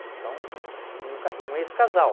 Eles são um um ca um ex-casal.